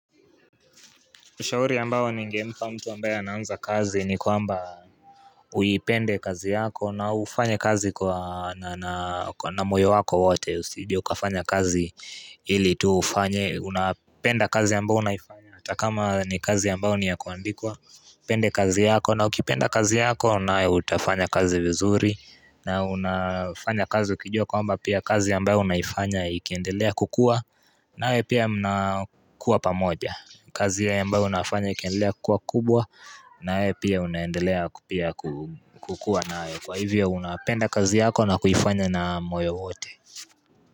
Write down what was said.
Ushauri ambao ni ngempa mtu ambaye anaanza kazi ni kwamba uipende kazi yako na ufanye kazi kwa na moyo wako wote usije ukafanya kazi ili tu ufanye unapenda kazi ambao unaifanya hatakama ni kazi ambayo ni ya kuandikwa, upende kazi yako na ukipenda kazi yako nayo utafanya kazi vizuri na unafanya kazi ukijua kwamba pia kazi ambayo unaifanya ikiendelea kukua nanyi pia mnakuwa pamoja kazi ambayo unafanya ikiendelea kukuakubwa nawe pia unaendelea kukua nayo kwa hivyo unapenda kazi yako na kuifanya na moyo wote.